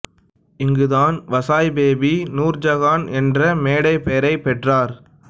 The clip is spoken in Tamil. இங்குதான் வசாய் பேபி நூர் ஜஹான் என்ற மேடைப் பெயரைப் பெற்றார்